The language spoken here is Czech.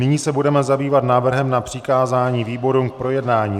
Nyní se budeme zabývat návrhem na přikázání výborům k projednání.